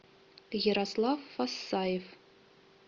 ярослав фасаев